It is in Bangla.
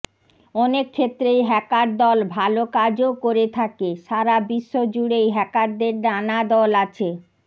অনেক ক্ষেত্রেই হ্যাকার দল ভালো কাজও করে থাকে সারা বিশ্বজুড়েই হ্যাকারদের নানা দল আছে